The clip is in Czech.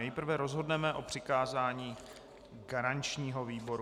Nejprve rozhodneme o přikázání garančnímu výboru.